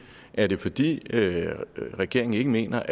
er det fordi regeringen ikke mener